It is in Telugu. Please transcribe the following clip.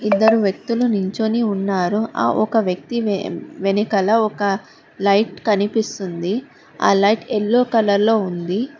ఇద్దరు వ్యక్తులు నించొని ఉన్నారు ఆ ఒక వ్యక్తి వెనుకల ఒక లైట్ కనిపిస్తుంది ఆ లైట్ ఎల్లో కలర్ లో ఉంది.